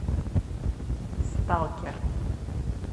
сталкер